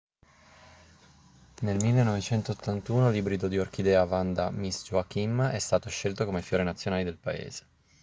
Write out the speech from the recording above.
nel 1981 l'ibrido di orchidea vanda miss joaquim è stato scelto come fiore nazionale del paese